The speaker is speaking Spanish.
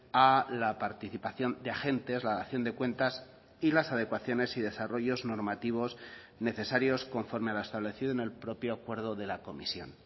a la participación de agentes la dación de cuentas y las adecuaciones y desarrollos normativos necesarios conforme a lo establecido en el propio acuerdo de la comisión